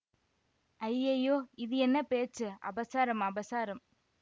ஐயையோ இது என்ன பேச்சு அபசாரம் அபசாரம்